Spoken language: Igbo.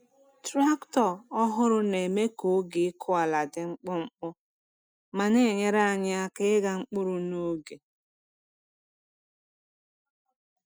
Traktọ ọhụrụ na-eme ka oge ịkụ ala dị mkpụmkpụ ma na-enyere anyị aka ịgha mkpụrụ n’oge.